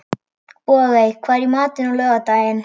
Bogey, hvað er í matinn á laugardaginn?